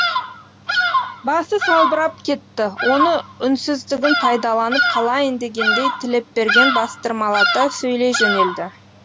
басы салбырап кетті осы үнсіздігін пайдаланып қалайын дегендей тілепберген бастырмалата сөйлей жөнелді